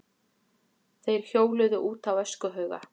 Þeir hjóluðu út á öskuhauga.